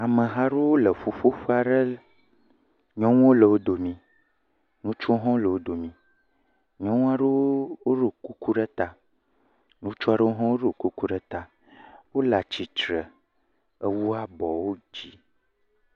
Ameha aɖewo le ƒuƒoƒe aɖe. nyɔnuwo le wo domi. Ŋutsuwo hã le wo domi. Nyɔnu aɖewo hã ɖo kuku ɖe ta. Ŋutsu aɖewo hã ɖo kuku ɖe ta. Wo le atsitre ewu abɔwo dzi.